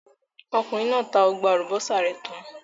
Okùnrin náà tá gbogbo àlùbọ́sà rẹ̀ tán.